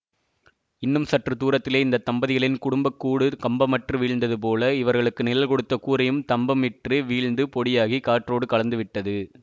இன்னும் சற்று தூரத்திலே இந்த தம்பதிகளின் குடும்பக் கூடு கம்பமற்று வீழ்ந்ததுபோல இவர்களுக்கு நிழல் கொடுத்த கூரையும் தம்பம் இற்று வீழ்ந்து பொடியாகிக் காற்றோடு கலந்துவிட்டது